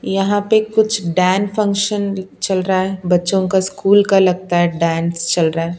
यहां पे कुछ डयन फंक्शन चल रहा है बच्चों का स्कूल का लगता है डांस चल रहा है।